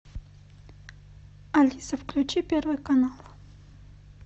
алиса включи первый канал